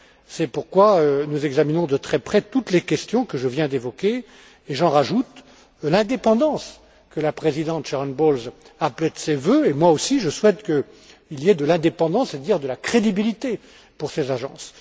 C'est pourquoi nous examinons de très près toutes les questions que je viens d'évoquer, et j'en rajoute l'indépendance, que la présidente Sharon Bowles appelait de ses vœux et je souhaite, moi aussi, qu'il y ait de l'indépendance, c'est à dire de la crédibilité, pour ces agences